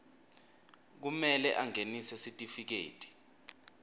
kumele angenise sitifiketi